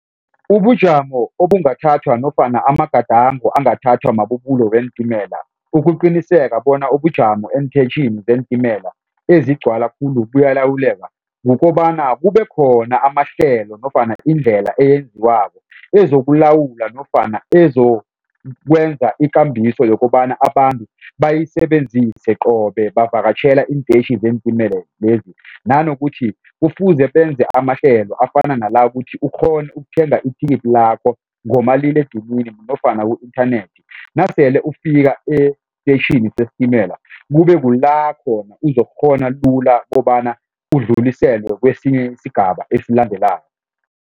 Ubujamo obungathathwa nofana amagadango angathathwa mabubulo weentimela ukuqiniseka bona ubujamo eenteyitjhini zeentimela ezigcwala khulu buyalawuleka kukobana kube khona amahlelo nofana indlela eyenziwako ezokulawula nofana ezokwenza ikambiso yokobana abantu bayisebenzise qobe bavakatjhela iinteyitjhi zeentimela lezi. Nanokuthi kufuze benze amahlelo afana nala ukuthi ukghone ukuthenga ithikithi lakho ngomaliledinini nofana ku-inthanethi nasele ufika esitetjhini sesitimela kube kulapho uzokukghona lula kobana udluliselwe kwesinye isigaba esilandelako.